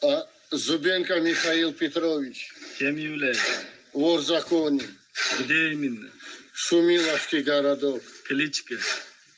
а зубенко михаил петрович кем являетесь вор в законе где именно шумиловский городок кличка